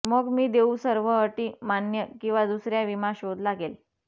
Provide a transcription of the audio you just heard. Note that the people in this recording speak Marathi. मग मी देऊ सर्व अटी मान्य किंवा दुसर्या विमा शोध लागेल